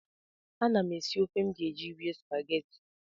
Ana m esi ofe m ga-eji rie spagetị.